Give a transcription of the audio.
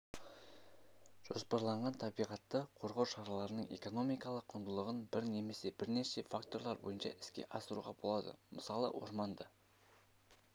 жоспарланған табиғатты қорғау шараларының экономикалық құндылығын бір немесе бірнеше факторлар бойынша іске асыруға болады мысалы орманды